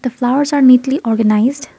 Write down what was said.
the flowers are neatly organised.